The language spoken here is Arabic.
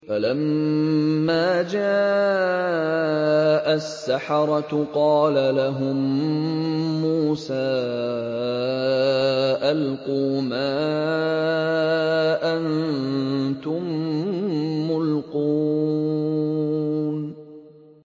فَلَمَّا جَاءَ السَّحَرَةُ قَالَ لَهُم مُّوسَىٰ أَلْقُوا مَا أَنتُم مُّلْقُونَ